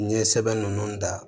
N ye sɛbɛn ninnu da